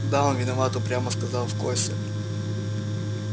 да он виноват упрямо сказал костя